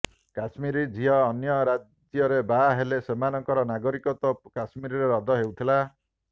କଶ୍ମୀର ଝିଅ ଅନ୍ୟ ରାଜ୍ୟରେ ବାହା ହେଲେ ସେମାନଙ୍କର ନାଗରିକତ୍ୱ କଶ୍ମୀରରେ ରବ୍ଦ ହେଉଥିଲା